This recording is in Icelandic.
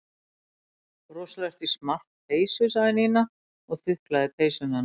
Rosalega ertu í smart peysu sagði Nína og þuklaði peysuna hennar.